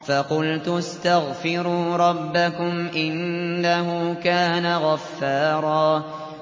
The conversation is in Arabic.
فَقُلْتُ اسْتَغْفِرُوا رَبَّكُمْ إِنَّهُ كَانَ غَفَّارًا